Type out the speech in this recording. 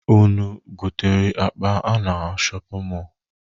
Unu gotere akpa a na shọpịn mọọlụ?